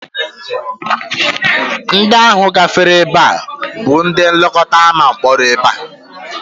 Ndị ahụ gafere ebe a bụ ndị nlekọta ama mkpori ndị a